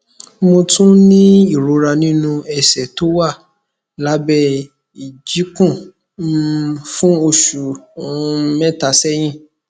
mo tún ń ní ìrora nínú ẹsẹ tó wà lábẹ ìjikùn um fún oṣù um mẹta sẹyìn